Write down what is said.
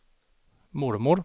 mormor